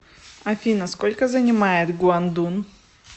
афина сколько занимает гуандун